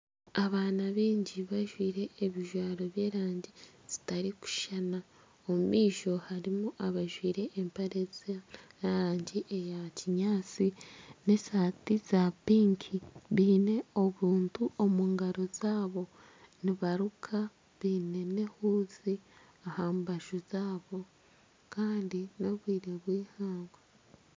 Abaana baingi bajwaire ebijwaro by'erangi zitarikushushana omu maisho harimu abajwaire empare ez'erangi eya kinyaatsi nana esaati za pinki baine obuntu omungaro zaabo nibaruka baine nana ehuuzi aha mbaju zaabo kandi n'obwire bw'eihangwe .